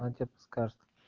она тебе подскажет